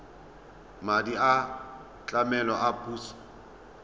madi a tlamelo a puso